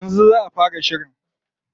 Yanzu za a fara shirin.